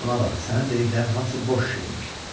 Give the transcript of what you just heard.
Buna bax, sənin dediklərin hamısı boş şeymiş.